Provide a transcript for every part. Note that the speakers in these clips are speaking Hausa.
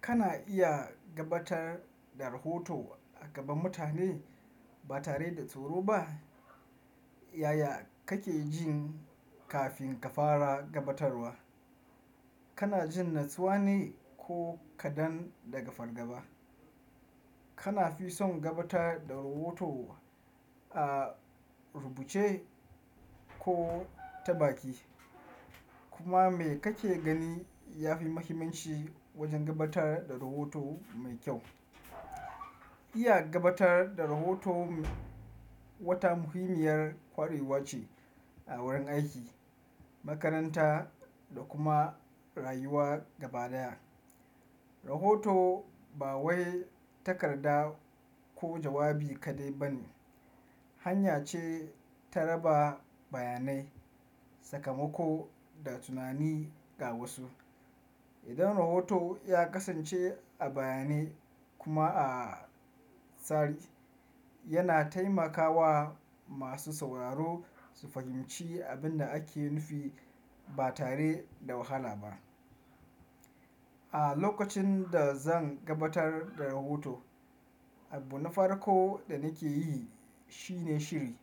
Kana iya gabatar da rahoto a gaba mutane ba tare da tsoro ba. Yaya kake jin kafin ka fara gabatarwa? Kana jin natsuwa ne ko kaɗan daga fargaba? Kana fi son gabatar da rahoto a rubuce ko ta baki? Kuma me kake gani ya fi muhimmanci wajen gabatar da rahoto mai kyau? Iya gabatar da rahoto wata muhimmiyar kwarewa ce a wurin aiki, makaranta da kuma rayuwa gaba daya. Rahoto ba wai takarda ko jawabi kaɗai ba ne, hanya ce ta raba bayanai, sakamako da tunani ga wasu. Idan rahoto ya kasance a bayanai kuma a tsari, yana taimakawa masu sauraro su fahimci abin da ake nufi ba tare da wahala ba. A lokacin da zan gabatar da rahoto, abu na farko da nake yi shine shiri.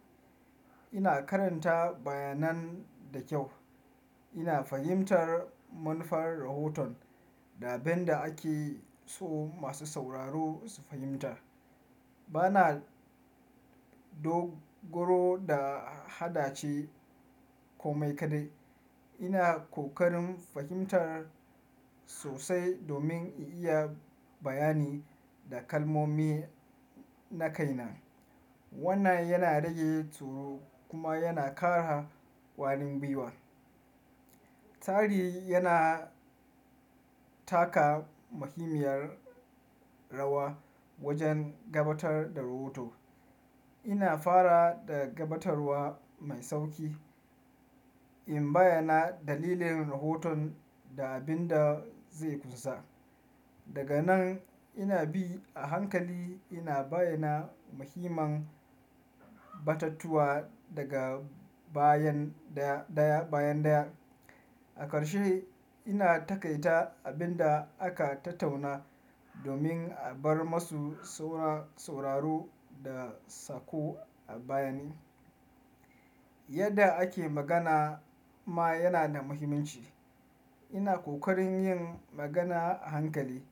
Ina karanta bayanan da kyau. Ina fahimtar manufar rahoton da abin da ake so masu sauraro su fahimta. Bana dogaro da hada ce ko mai kaɗai. Ina kokarin fahimtar sosai domin in iya bayani da kalmomi na kaina. Wannan yana rage tsoro kuma yana ƙara ƙwalin biwa. Tsari yana taka muhimmiyar rawa wajen gabatar da rohoto. Ina fara da gabatarwa mai sauƙi, in bayyana dalilin rahoton da abin da zai kusa. Daga nan ina bi a hankali ina bayyana mahimman batattuwa daga bayan daya bayan daya. A ƙarshe ina takaita abin da aka tattauna domin a bar masu sauraro da sako a bayani. Yadda ake magana ma yana da muhimmanci. Ina kokarin yin magana a hankali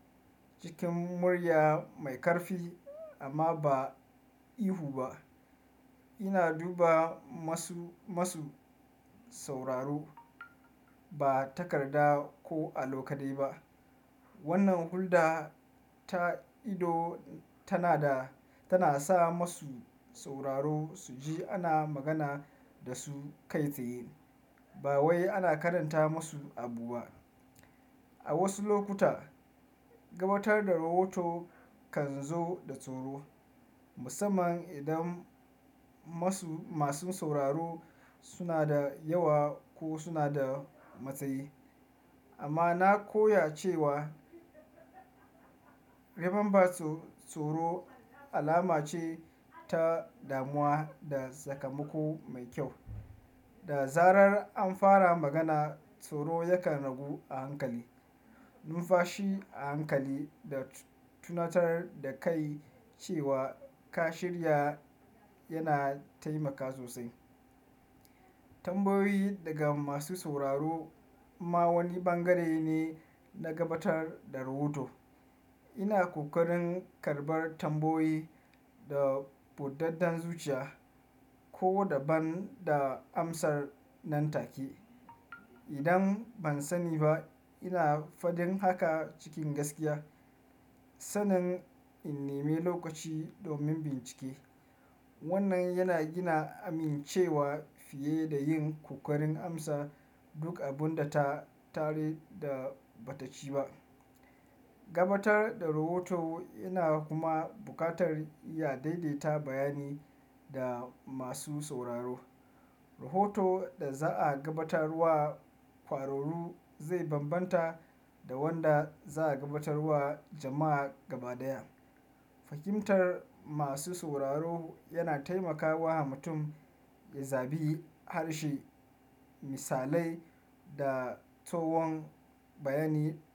cikin murya mai ƙarfi amma ba ihu ba. Ina duba masu, masu sauraro ba takarda ko a lo kaɗai ba. Wannan hulɗa ta ido tana da tana sa masu sauraro su ji ana magana da su kai tsaye ba wai ana karanta masu abu ba. A wasu lokuta gabatar da rohoto kan zo da tsoro, musamman idan masu masu sauraro suna da yawa ko suna da matsayi. Amma na koya cewa, remember tsoro alama ce ta damuwa da sakamako mai kyau. Da zarar an fara magana tsoro yakan ragu a hankali. Nufashi a hankali da tunatar da kai cewa ka shirya yana taimakawa sosai. Tambayoyi daga masu sauraro ma wani bangare ne na gabatar da rahoto. Ina kokarin karɓar tambayoyi da budaddan zuciya ko da ban da amsar nan take. Idan ban sani ba ina fadin haka cikin gaskiya. Sannan in nemi lokaci domin bincike. Wannan yana gina amincewa fiye da yin ƙoƙarin amsa duk abun da ta tare da ba ta ci ba. Gabatar da rahoto yana kuma buƙatar ya daidaita bayani da masu sauraro. Rahoto da za'a gabatar wa kwararu zai bambanta da wanda za'a gabatar wa jama'a gaba daya. Fahimtar masu sauraro yana taimakawa mutum ya zabi harshe, misalai da tsohon bayani.